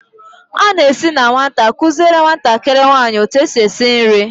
a na-esi na nwata, kuziere nwatakịrị nwanyị etu esi esi nri.